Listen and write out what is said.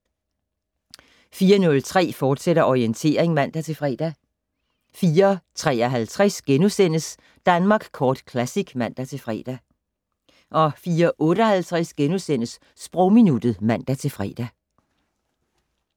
04:03: Orientering, fortsat (man-fre) 04:53: Danmark Kort Classic *(man-fre) 04:58: Sprogminuttet *(man-fre)